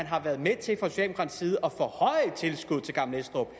har været med til at forhøje tilskuddet til gammel estrup